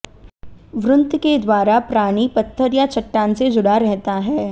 वृंत के द्वारा प्राणी पत्थर या चट्टान से जुड़ा रहता है